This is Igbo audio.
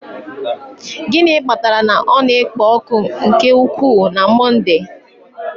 Gịnị kpatara na ọ na-ekpo ọkụ nke ukwuu na Monde a?